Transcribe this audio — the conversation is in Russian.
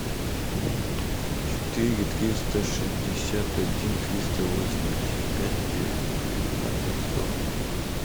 четыре триста шестьдесят один триста восемьдесят пять девятнадцать сорок два